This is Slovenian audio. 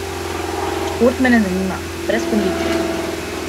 Šport me ne zanima, brez kondicije sem.